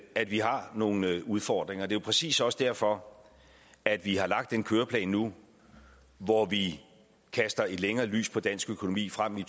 at vi har nogle udfordringer det er jo præcis også derfor at vi har lagt en køreplan nu hvor vi kaster et længere lys på dansk økonomi frem i